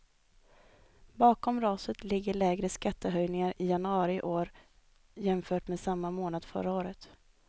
Bakom raset ligger lägre skattehöjningar i januari år jämfört med samma månad förra året.